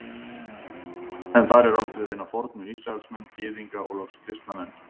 Er þar átt við hina fornu Ísraelsmenn, Gyðinga og loks kristna menn.